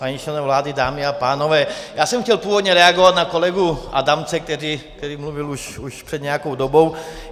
Páni členové vlády, dámy a pánové, já jsem chtěl původně reagovat na kolegu Adamce, který mluvil už před nějakou dobou.